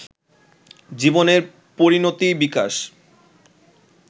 জীবনের পরিণতি-বিকাশ